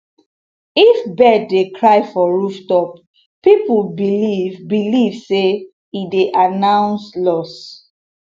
if bird dey cry for rooftop people believe believe say e dey announce loss